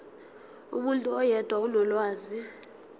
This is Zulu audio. umuntu oyedwa onolwazi